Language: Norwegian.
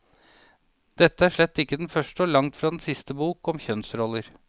Dette er slett ikke den første og langt fra den siste bok om kjønnsroller.